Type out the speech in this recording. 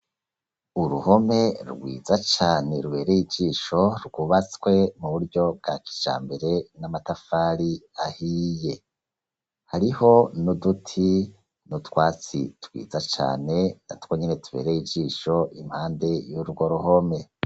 Uruhome rwiza cane rubereye ijisho rwubatswe mu buryo bwa kija mbere n'amatafari ahiye hariho ni uduti ni utwatsi twiza cane na two nyene tubereye ijisho impande y'urwo ruhome.